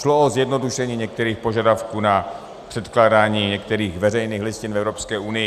Šlo o zjednodušení některých požadavků na předkládání některých veřejných listin v Evropské unii.